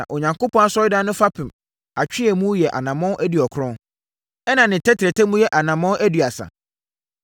Na Onyankopɔn Asɔredan no fapem atweeɛmu yɛ anammɔn aduɔkron, ɛnna ne tɛtrɛtɛ mu yɛ anammɔn aduasa.